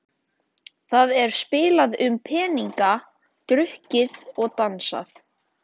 Það er spilað um peninga, drukkið og dansað.